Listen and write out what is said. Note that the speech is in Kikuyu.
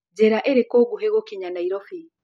nĩ njĩra ĩriku ngũhi gũkinya nairobi